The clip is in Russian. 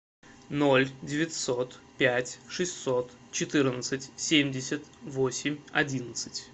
ноль девятьсот пять шестьсот четырнадцать семьдесят восемь одиннадцать